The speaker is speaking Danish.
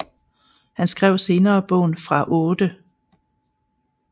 Han skrev senere bogen Fra 8